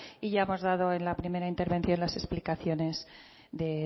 y ya hemos dado en la primera intervención las explicaciones de